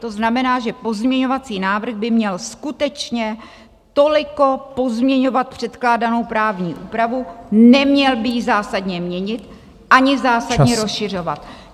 To znamená, že pozměňovací návrh by měl skutečně toliko pozměňovat předkládanou právní úpravu, neměl by ji zásadně měnit ani zásadně rozšiřovat.